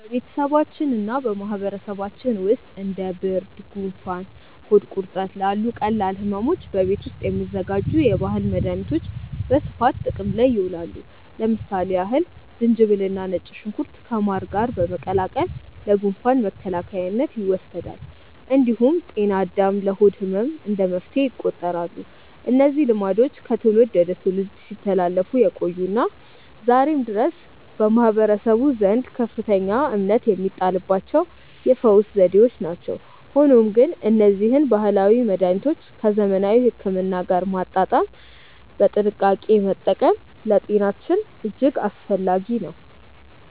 በቤተሰባችንና በማህበረሰባችን ውስጥ እንደ ብርድ፣ ጉንፋንና ሆድ ቁርጠት ላሉ ቀላል ሕመሞች በቤት ውስጥ የሚዘጋጁ የባህል መድኃኒቶች በስፋት ጥቅም ላይ ይውላሉ። ለምሳሌ ያህል ዝንጅብልና ነጭ ሽንኩርት ከማር ጋር በመቀላቀል ለጉንፋን መከላከያነት ይወሰዳል። እንዲሁም ጤና አዳም ለሆድ ህመም እንደ መፍትሄ ይቆጠራሉ። እነዚህ ልማዶች ከትውልድ ወደ ትውልድ ሲተላለፉ የቆዩና ዛሬም ድረስ በማህበረሰቡ ዘንድ ከፍተኛ እምነት የሚጣልባቸው የፈውስ ዘዴዎች ናቸው። ሆኖም ግን እነዚህን ባህላዊ መድኃኒቶች ከዘመናዊ ሕክምና ጋር በማጣጣም በጥንቃቄ መጠቀም ለጤናችን እጅግ አስፈላጊ ነው።